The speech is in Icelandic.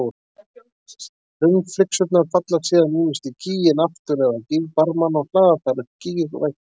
Hraunflygsurnar falla síðan ýmist í gíginn aftur eða á gígbarmana og hlaða þar upp gígveggi.